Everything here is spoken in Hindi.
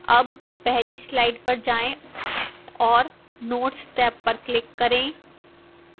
tab पहली slide पर जाएं और notes टैब पर click करें